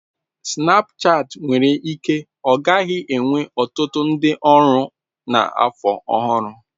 Snapchat nwere ike ọ gaghị enwe ọtụtụ ndị ọrụ na afọ ọhụrụ.